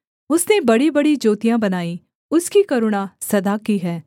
उसने बड़ीबड़ी ज्योतियाँ बनाईं उसकी करुणा सदा की है